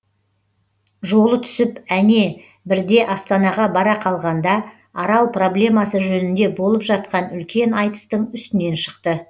жолы түсіп әне бірде астанаға бара қалғанда арал проблемасы жөнінде болып жатқан үлкен айтыстың үстінен шықты